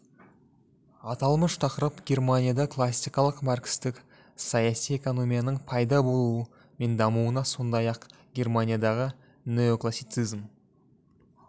аталмыш тақырып германияда классикалық маркстік саяси экономияның пайда болуы мен дамуына сондай-ақ германиядағы неоклассицизм